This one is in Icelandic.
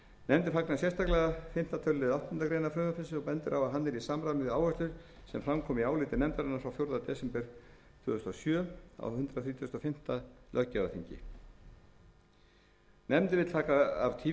nefndin fagnar sérstaklega fimmta tölulið áttundu greinar frumvarpsins og bendir á að hann er í samræmi við áherslur sem fram komu í áliti nefndarinnar frá fjórða desember tvö þúsund og sjö á hundrað þrítugasta og fimmta löggjafarþingi nefndin vill taka af